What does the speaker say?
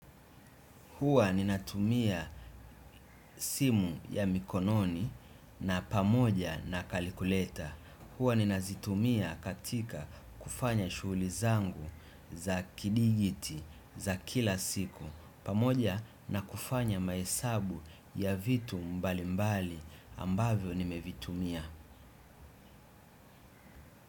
Huwa ninatumia simu ya mikononi na pamoja na kalikuleta. Huwa ninazitumia katika kufanya shughuli zangu za kidijiti za kila siku. Pamoja na kufanya mahesabu ya vitu mbali mbali ambavyo nimevitumia.